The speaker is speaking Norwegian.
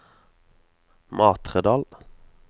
Matredal